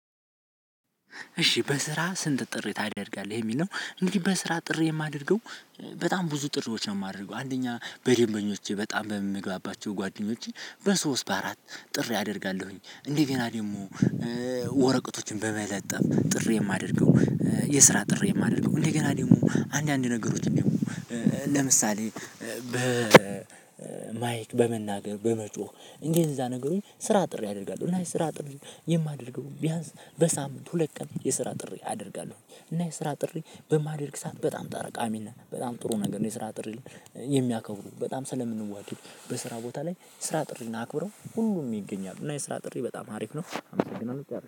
እሺ በስራ ስንት ጥሪ ታደርጋለህ የሚለው እንዲህ በስራ ጥሪ የማደርገው በጣም ብዙ ጥሪዎች ነው። የማደርገው አንደኛ በደንበኞቼ በጣም በምግባባቸው ጓደኞቼን በሶስት በአራት ጥሪ አደርጋለሁኝ እንደገና ደግሞ ወረቀቶችን በመለጠፍ ጥሪ የማደርገው የስራ ጥሪ የማደርገው እንደገና ደግሞ አንዳንድ ነገሮች ደግሞ ለምሳሌ፣ በ ማይክ በመናገር በመጮህ እንጂ እዛ ነገሩን ስራ ጥሪ አደርጋለሁ እና ስራ ጥሪ የማደርገው ቢያንስ በሳምንት ሁለት ቀን የስራ ጥሪ አደርጋለሁ እና የስራ ጥሪ በማደርግ ሰዓት በጣም ጣረቃሚ ነን በጣም ጥሩ ነገር ነው። የስራ ጥሪ የሚያከብሩ በጣም ስለምንዋደድ በስራ ቦታ ላይ ስራ ጥሪ እናክብረው ሁሉም ይገኛሉ እና የስራ ጥሪ በጣም ሀሪፍ ነው።